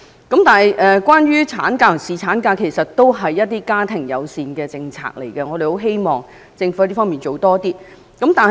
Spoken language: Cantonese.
其實產假和侍產假也是屬於家庭友善的政策，我們希望政府可以在這方面加大力度。